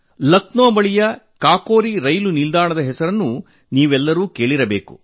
ಲಕ್ನೋ ಬಳಿಯ ಕಾಕೋರಿ ರೈಲು ನಿಲ್ದಾಣದ ಹೆಸರನ್ನು ನೀವೆಲ್ಲರೂ ಕೇಳಿರಬೇಕು